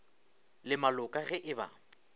le maloka ge e ba